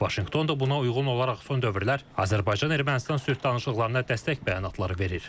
Vaşinqton da buna uyğun olaraq son dövrlər Azərbaycan-Ermənistan sülh danışıqlarına dəstək bəyanatları verir.